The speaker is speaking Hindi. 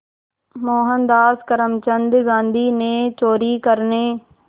मोहनदास करमचंद गांधी ने चोरी करने